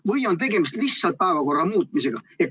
Või on tegemist lihtsalt päevakorra muutmisega?